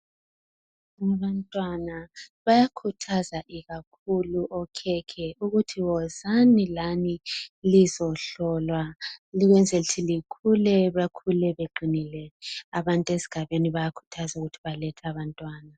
Abantwana, bayakuthaza ikakhulu okhekhe ukuthi zozani lani lizohlolwa ukuze likule, bekule beqinile. Abantu esigabeni bayakuthazwa ukuthi balethe abantwana.